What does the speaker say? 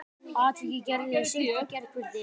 Atvikið gerðist í seint í gærkvöldi